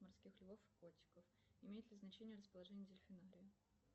морских львов и котиков имеет ли значение расположение дельфинария